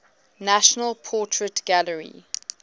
national portrait gallery